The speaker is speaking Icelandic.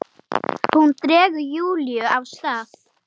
Hún dregur Júlíu af stað.